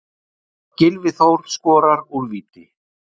Gylfi Þór skorar úr víti.